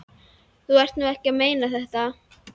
Þú ert nú ekki að meina þetta!